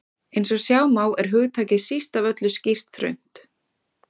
Eins og sjá má er hugtakið síst af öllu skýrt þröngt.